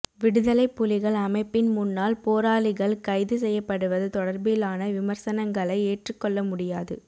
விடுதலைப்புலிகள் அமைப்பின் முன்னாள் போராளிகள் கைது செய்யப்படுவது தொடர்பிலான விமர்சனங்களை ஏற்றுக்கொள்ளமுடியாது